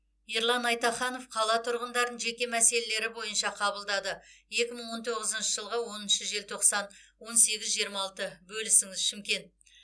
ерлан айтаханов қала тұрғындарын жеке мәселелері бойынша қабылдады екі мың он тоғызыншы жылғы оныншы желтоқсан он сегіз жиырма алты бөлісіңіз шымкент